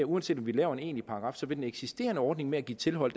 uanset om vi laver en paragraf vil den eksisterende ordning med at give tilhold